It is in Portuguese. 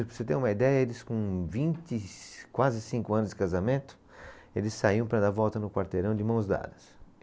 Para você ter uma ideia, eles com vinte e, quase cinco anos de casamento, eles saíam para dar volta no quarteirão de mãos dadas.